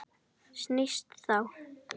Snýst þá